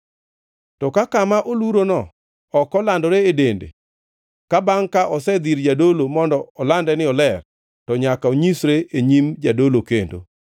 To ka kama olurono ok olandore e dende ka bangʼ ka osedhi ir jadolo mondo olande ni oler, to nyaka onyisre e nyim jadolo kendo.